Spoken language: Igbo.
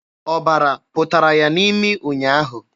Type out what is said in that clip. Ọbara pụtara ya n'imi ụnyaahụ.